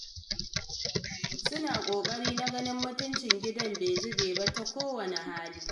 Suna ƙoƙari na ganin mutuncin gidan ba zube ba ta kowanne hali.